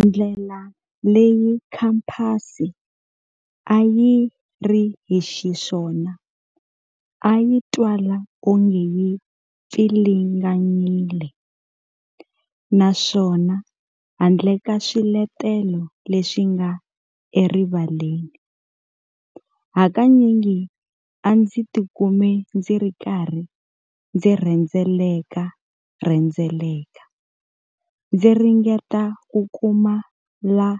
Ndlela leyi khamphasi a yi ri hi xiswona a yi twala onge yi pfilinganyile, naswona handle ka swiletelo leswi nga erivaleni, hakanyingi a ndzi tikuma ndzi ri karhi ndzi rhendzelekarhendzheleka, ndzi ringeta ku kuma la